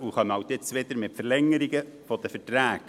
Sie kommen jetzt wieder mit der Verlängerung von Verträgen.